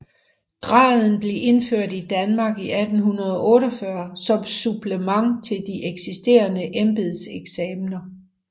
Graden blev indført i Danmark i 1848 som supplement til de eksisterende embedseksamener